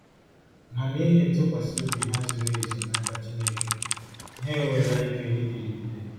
Ma n’ihi ntụkwasị obi ha zuru ezu n’aka Chineke, ha enweela ike ịdịrịgide.